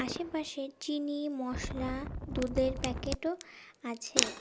আশেপাশে চিনি মসলা দুধের প্যাকেটও আছে।